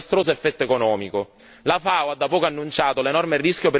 La FAO ha da poco annunciato l'enorme rischio per i raccolti in Africa occidentale.